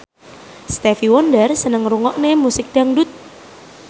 Stevie Wonder seneng ngrungokne musik dangdut